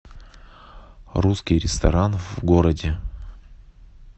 русский ресторан в городе